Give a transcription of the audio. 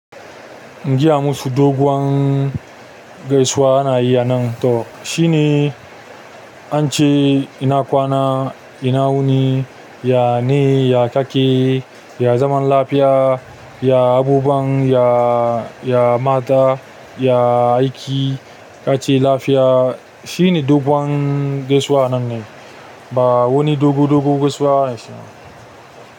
Giya musu doguwan gaisuwa ana yi a nan to shine ance ina kwana ina wuni yane ya kake ya zaman lafiya ya abubuwan to ya mata ya aiki kace lafiya shine doguwan gaisuwa nan ne ba wuni dogu dogu gaisuwa ba shine.